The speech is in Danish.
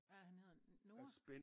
Hvad er det han hedder Noah?